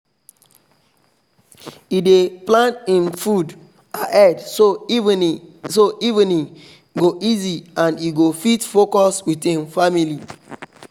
e dey plan hin food ahead so evening so evening go easy and e go fit focus with hin family